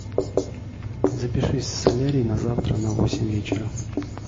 запишись в солярий на завтра на восемь вечера